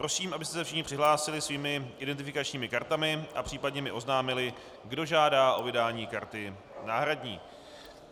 Prosím, abyste se všichni přihlásili svými identifikačními kartami a případně mi oznámili, kdo žádá o vydání karty náhradní.